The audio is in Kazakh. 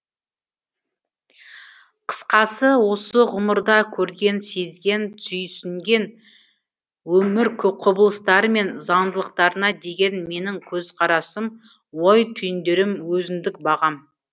қысқасы осы ғұмырда көрген сезген түйсінген өмір құбылыстары мен заңдылықтарына деген менің көзқарасым ой түйіндерім өзіндік бағам